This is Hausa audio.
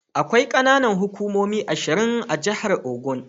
Akwai ƙananan hukumomi ashir a jahar Ogun.